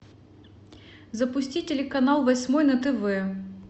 запусти телеканал восьмой на тв